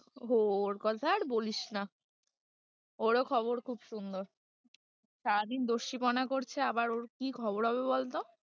ওর কথা আর বলিস না ওর ও খবর খুব সুন্দর, সারাদিন দস্যিপনা করছে আবার ওর কি খবর হবে বলতো?